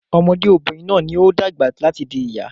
Ọmọdé obìnrin náà ní o dàgbà láti di ìyá